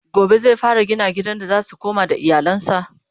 gobe zai fara gina gidan da zasu koma da iyalansa?